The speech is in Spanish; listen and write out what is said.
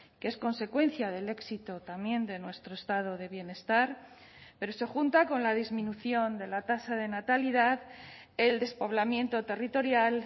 que es consecuencia del éxito también de nuestro estado de bienestar pero se junta con la disminución de la tasa de natalidad el despoblamiento territorial